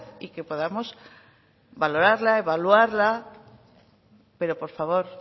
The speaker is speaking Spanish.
y que podamos valorarla evaluarla pero por favor